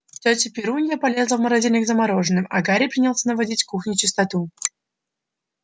тётя перунья полезла в морозильник за мороженым а гарри принялся наводить в кухне чистоту